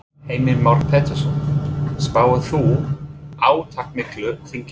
Heimir Már Pétursson: Spáir þú átakamiklu þingi?